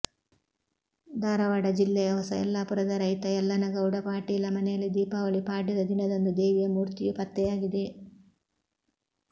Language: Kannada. ಧಾರವಾಡ ಜಿಲ್ಲೆಯ ಹೊಸ ಯಲ್ಲಾಪುರದ ರೈತ ಯಲ್ಲನಗೌಡ ಪಾಟೀಲ ಮನೆಯಲ್ಲಿ ದೀಪಾವಳಿ ಪಾಡ್ಯದ ದಿನದಂದು ದೇವಿಯ ಮೂರ್ತಿಯು ಪತ್ತೆಯಾಗಿದೆ